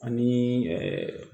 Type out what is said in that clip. Ani